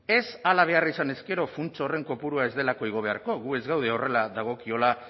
ez hala behar izanez gero funts horren kopurua ez delako igo beharko gu ez gaude horrela dagokiola